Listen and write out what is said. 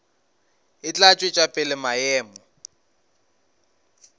e tla tšwetša pele maemo